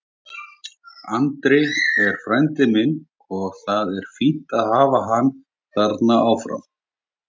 Andri er frændi minn og það er fínt að hafa hann þarna áfram.